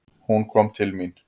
Hún kom til mín.